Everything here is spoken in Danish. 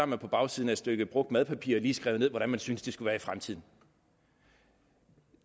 man på bagsiden af et stykke brugt madpapir lige skrevet ned hvordan man syntes det skulle være i fremtiden